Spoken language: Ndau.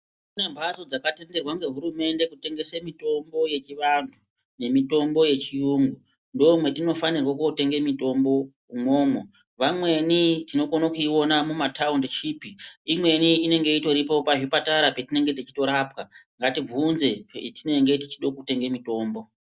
Kune mhatso dzakatenderwa ngehurumende kutengese mitombo yechivanhu nemitombo yechiyungu ndomwatinofanirwe kotenga mitombo imwomwo vamweni tingone kuiona mumataundi chipi imweni inenge itoripo pazvipatara petinonga techitorapwa ngatibvunze petinenge techide kutenge mutombo.